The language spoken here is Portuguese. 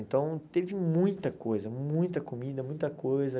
Então, teve muita coisa, muita comida, muita coisa.